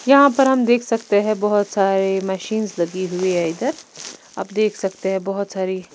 यहां पर हम देख सकते हैं बहुत सारे मशीनस लगी हुई हैं इधर आप देख सकते हैं बहुत सारी--